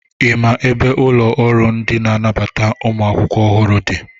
Ị maa ebe ụlọ ọrụ ndị na-ababata ụmụ akwụkwọ ọhụrụ dị?